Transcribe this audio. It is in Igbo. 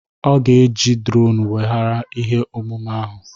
Ọ ga-eji drone weghara ihe omume ahụ